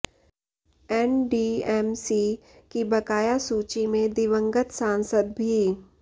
NDMC की बकाया सूची में दिवंगत सांसद भी